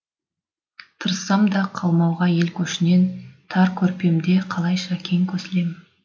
тырыссам да қалмауға ел көшінен тар көрпемде қалайша кең көсілем